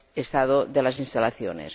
estados de las instalaciones.